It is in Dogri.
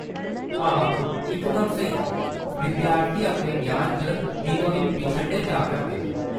हां , इकदम स्हेई, विद्यार्थी अपने ग्यान च दिनो-दिन पिच्छड़दे जा करदे न।